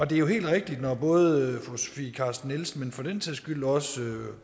det er jo helt rigtigt når både fru sofie carsten nielsen og for den sags skyld også herre